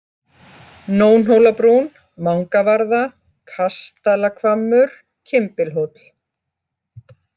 Nónhólabrún, Mangavarða, Kastalahvammur, Kimbilhóll